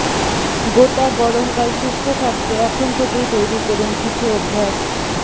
গোটা গরমকাল সুস্থ থাকতে এখন থেকেই তৈরি করুন কিছু অভ্যাস